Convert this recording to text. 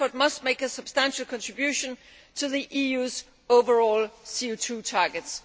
Transport must make a substantial contribution to the EU's overall CO 2 targets.